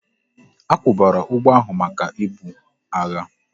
A kwubara ụgbọ ahu maka ibu agha